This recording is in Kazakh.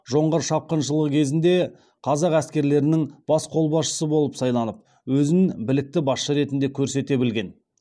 жоңғар шапқыншылығы кезінде қазақ әскерлерінің бас қолбасшысы болып сайланып өзін білікті басшы ретінді көрсете білген